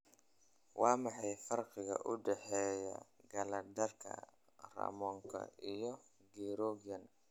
Waa maxay farqiga u dhexeeya kalandarka Roomaanka iyo Gregorian?